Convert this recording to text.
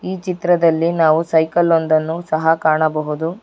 ಈ ಚಿತ್ರದಲ್ಲಿ ನಾವು ಸೈಕಲ್ ಒಂದನ್ನು ಕಾಣಬಹುದು.